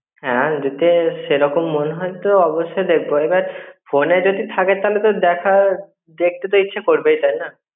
হ্যাঁ যদি সেরকম মনে হয় তো অবস্যই দেখব. এবার ফোনে যদি থাকে তাহলে তো দেখার, দেখতে তো ইচ্ছে করবে তাইনা